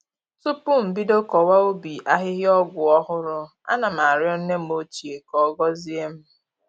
Tupu m bido kọwa ubi ahịhịa ọgwụ ọhụrụ, ana m arịọ nne m ochie ka ọ gọzie m